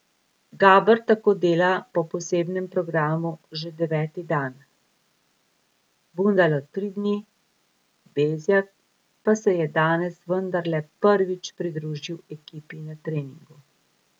Gaber tako dela po posebnem programu že deveti dan, Bundalo tri dni, Bezjak pa se je danes vendarle prvič pridružil ekipi na treningu.